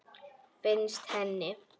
Finnst henni.